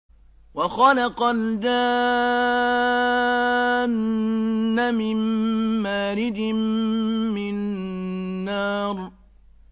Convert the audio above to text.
وَخَلَقَ الْجَانَّ مِن مَّارِجٍ مِّن نَّارٍ